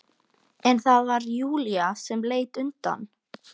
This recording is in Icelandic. En það var Júlía sem leit undan.